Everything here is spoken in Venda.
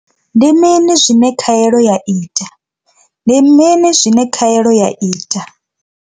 Ndi mini zwine khaelo ya ita. Ndi mini zwine khaelo ya ita.